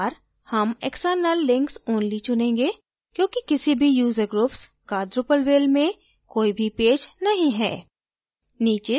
इस बार हम external links only चुनेंगे क्योंकि किसी भी user groups का drupalville में कोई भी पेज नहीं है